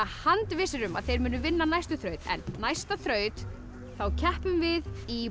handvissir um að þeir munu vinna næstu þraut en næsta þraut þá keppum við í